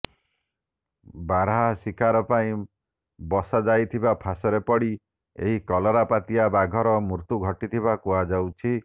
ବାର୍ହା ଶିକାର ପାଇଁ ବସାଯାଇଥିିବା ଫାସରେ ପଡ଼ି ଏହି କଲରାପତରିଆ ବାଘର ମୃତ୍ୟୁ ଘଟିଥିବା କୁହାଯାଉଛି